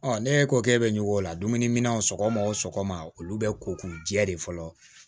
ne ko k'e bɛ ɲɔgɔn la dumunimin sɔgɔma o sɔgɔma olu bɛ ko k'u jɛ de fɔlɔ